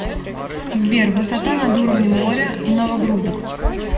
сбер высота над уровнем моря новогрудок